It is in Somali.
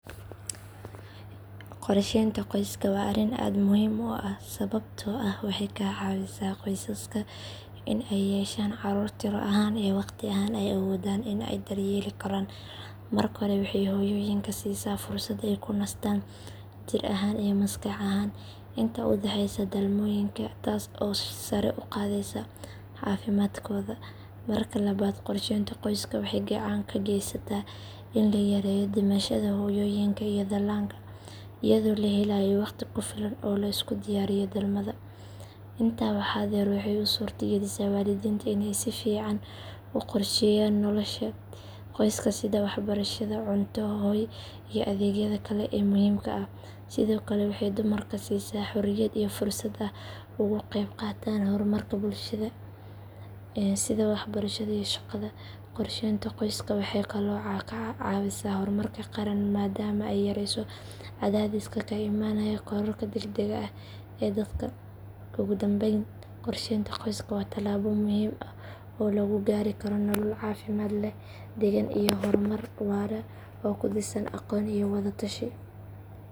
Qorsheynta qoyska waa arrin aad muhiim u ah sababtoo ah waxay ka caawisaa qoysaska in ay yeeshaan carruur tiro ahaan iyo waqti ahaan ay awoodaan in ay daryeeli karaan. Marka hore waxay hooyooyinka siisaa fursad ay ku nastaan jir ahaan iyo maskax ahaan inta u dhaxeysa dhalmooyinka taas oo sare u qaadaysa caafimaadkooda. Marka labaad qorsheynta qoyska waxay gacan ka geysataa in la yareeyo dhimashada hooyooyinka iyo dhallaanka iyadoo la helayo wakhti ku filan oo la isku diyaariyo dhalmada. Intaa waxaa dheer waxay u suurta galisaa waalidiinta in ay si fiican u qorsheeyaan nolosha qoyska sida waxbarashada, cunto, hoy iyo adeegyada kale ee muhiimka ah. Sidoo kale waxay dumarka siisaa xorriyad iyo fursad ay ugu qaybqaataan horumarka bulshada sida waxbarashada iyo shaqada. Qorsheynta qoyska waxay kaloo caawisaa horumarka qaran maadaama ay yarayso cadaadiska ka imaanaya kororka degdegga ah ee dadka. Ugu dambayn qorsheynta qoyska waa talaabo muhiim ah oo lagu gaari karo nolol caafimaad leh, degan, iyo horumar waara oo ku dhisan aqoon iyo wada tashi.